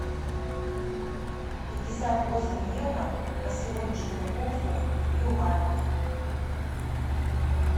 пятьдесят восемь евро по сегодняшнему курсу в юанях